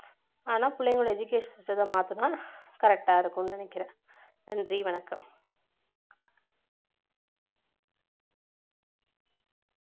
ஆனா பிள்ளைகளோட education system அ மாத்துனா correct ஆ இருக்கும்னு நினைக்கிறேன் நன்றி வணக்கம்